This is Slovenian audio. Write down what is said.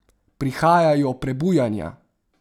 Prihajajo Prebujanja!